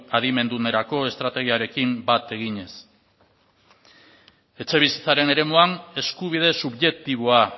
adimendunerako estrategiarekin bat eginez etxebizitzaren eremuan eskubide subjektiboa